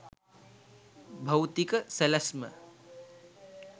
භෞතික සැලැස්ම